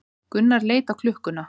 Gunnar leit á klukkuna.